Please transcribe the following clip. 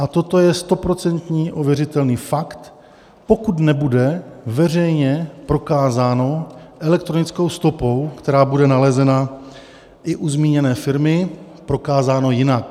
A toto je stoprocentní ověřitelný fakt, pokud nebude veřejně prokázáno elektronickou stopou, která bude nalezena i u zmíněné firmy, prokázáno jinak.